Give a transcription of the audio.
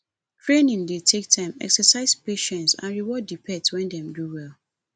training dey take time exercise patience and reward di pet when dem do well